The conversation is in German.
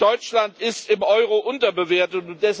Deutschland ist im Euro unterbewertet.